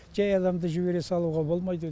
жай адамды жібере салуға болмайды